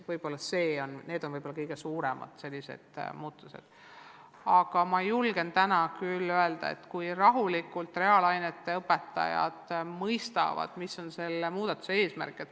Võib-olla need on kõige suuremad muudatused, aga ma julgen täna küll öelda, et kui reaalainete õpetajad nende üle rahulikult mõtlevad, siis nad mõistavad, mis on nende eesmärk.